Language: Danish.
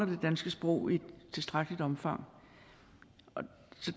det danske sprog i tilstrækkeligt omfang